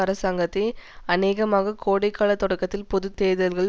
அரசாங்கத்தை அனேகமாக கோடைகால தொடக்கத்தில் பொது தேர்தல்கள்